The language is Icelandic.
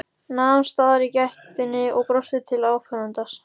Nam staðar í gættinni og brosti til áhorfandans.